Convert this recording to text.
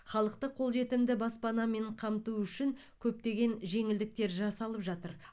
халықты қолжетімді баспанамен қамту үшін көптеген жеңілдіктер жасалып жатыр